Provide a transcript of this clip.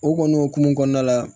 O kɔni o hukumu kɔnɔna la